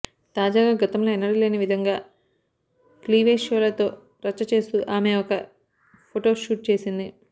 తాజాగా గతంలో ఎన్నడూ లేని విధంగా క్లీవేజ్ షోలతో రచ్చ చేస్తూ ఆమె ఒక ఫొటో షూట్ చేసింది